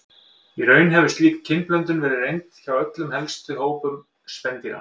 Í raun hefur slík kynblöndun verið reynd hjá öllum helstu hópum spendýra.